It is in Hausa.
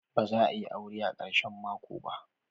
Ba za a yi aure a karshen mako ba?